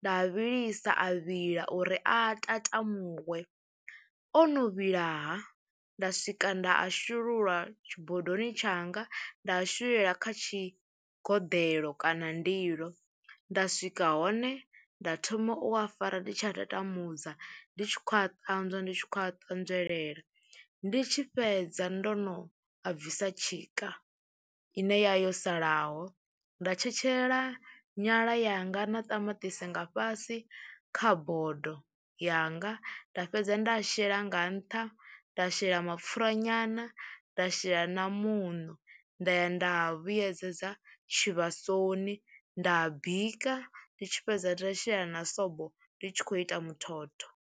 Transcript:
nda vhilisa a vhila uri a tatamuwe, o no vhilaha nda swika nda a shulula tshibodoni tshanga nda a shululela kha tshigoḓeḽo kana nḓilo, nda swika hone nda thoma u a fara ndi tshi a tatamudza ndi tshi khou a ṱanzwa ndi tshi khou a ṱanzwelela, ndi tshi fhedza ndo no a bvisa tshika ine ya yo salaho nda tshetshelela nyala yanga na ṱamaṱisi nga fhasi kha bodo yanga, nda fhedza nda a shela nga nṱha, nda shela mapfhura nyana, nda shela na muṋo, nda ya nda a vhuyedzedza tshivhasoni nda a bika, ndi tshi fhedza nda shela na sobo ndi tshi khou ita muthotho.